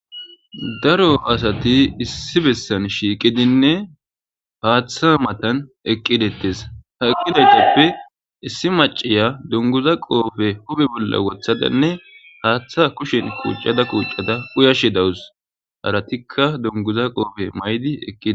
Daro asati issi bessan shiiqidinne paaththa matan eqqidettes ha eqqidagepfe issi maciya donguza qoofe hube bolla wothadanne haaththa kushen kuuccada kuuccada uyashe dawus haratikka donguza qoofe maydi eqqid